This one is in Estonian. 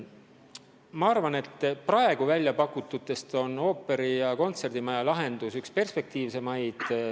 Ma arvan, et praegu väljapakututest on ooperi- ja kontserdimaja lahendus üks kõige perspektiivsemaid.